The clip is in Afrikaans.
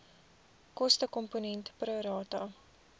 kostekomponent pro rata